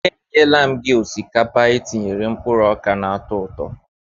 E nyela m gị osikapa etinyere mkpụrụ oka na-atọ ụtọ.